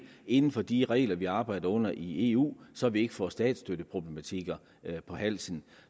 inden for de regler vi arbejder under i eu så vi ikke får statsstøtteproblematikker på halsen